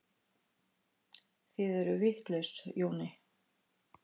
Þið eruð vitlaus, Jóni